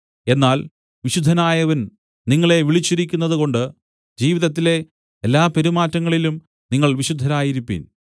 എന്നാൽ വിശുദ്ധനായവൻ നിങ്ങളെ വിളിച്ചിരിക്കുന്നതുകൊണ്ട് ജീവിതത്തിലെ എല്ലാപെരുമാറ്റങ്ങളിലും നിങ്ങൾ വിശുദ്ധരായിരിപ്പിൻ